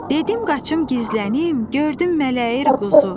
Dedim qaçım gizlənim, gördüm mələyir quzu.